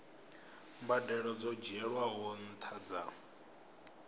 mbadelo dzo dzhielwaho nṱha dza